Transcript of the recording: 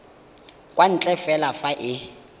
kwa ntle fela fa e